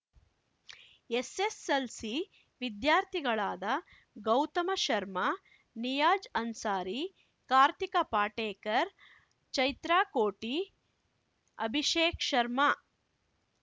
SSLC ವಿದ್ಯಾರ್ಥಿಗಳಾದ ಗೌತಮ ಶರ್ಮಾ ನಿಯಾಜ ಅನ್ಸಾರಿ ಕಾರ್ತಿಕ ಪಾಟೇಕರ್ ಚೈತ್ರಾ ಕೋಟಿ ಅಭಿಷೇಕ್ ಶರ್ಮಾ